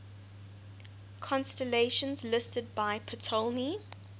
constellations listed by ptolemy